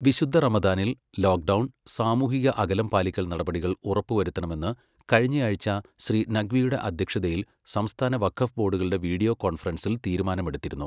വിശുദ്ധ റമദാനിൽ ലോക്ഡൗൺ, സാമൂഹിക അകലം പാലിക്കൽ നടപടികൾ ഉറപ്പു വരുത്തണമെന്ന് കഴിഞ്ഞയാഴ്ച ശ്രീ നഖ്വിയുടെ അധ്യക്ഷതയിൽ സംസ്ഥാന വഖഫ് ബോർഡുകളുടെ വീഡിയോ കോൺഫറൻസിൽ തീരുമാനമെടുത്തിരുന്നു.